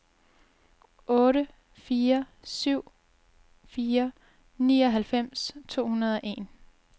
otte fire syv fire nioghalvfems to hundrede og en